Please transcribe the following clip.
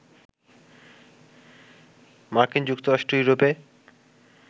মার্কিন যুক্তরাষ্ট্র, ইউরোপে